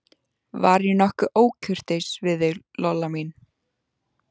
Var ég nokkuð ókurteis við þig, Lolla mín?